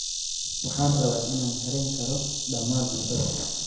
Waxaan rabaa inaan kari karo dhammaan cuntada.